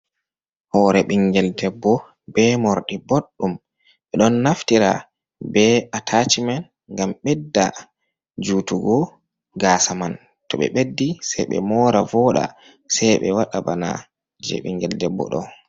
Hore ɓingel debbo be morɗi boɗdum ɓe ɗon naftira be atachi men ngam bedda jutugo gasa man, to ɓe beddi sei be mora voɗa sei be waɗa bana je ɓingel debbo ɗo.